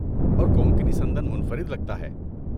اور کونکنی سندن منفرد لگتا ہے۔